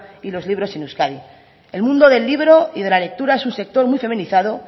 y los libros en euskadi el mundo del libro y de la lectura es un sector muy feminizado